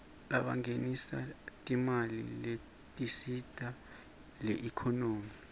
labangenisa timali letisita iekhonomy